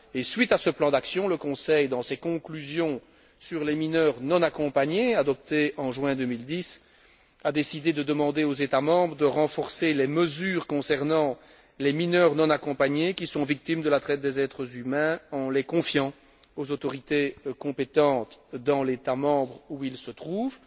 Suite à ce plan d'action, le Conseil, dans ses conclusions sur les mineurs non accompagnés, adoptées en juin 2010, a décidé de demander aux États membres de renforcer les mesures concernant les mineurs non accompagnés qui sont victimes de la traite des êtres humains, en les confiant aux autorités compétentes dans l'État membre où ils se trouvent.